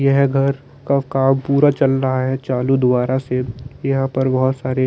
यह घर का काम पूरा चल रहा हैं चालू दुबारा से यहाँ पर बहुत सारे--